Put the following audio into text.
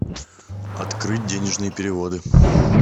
открыть денежные переводы